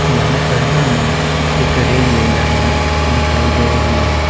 यहां पर हमें एक रेलवे लाइन दिखाई दे रही है।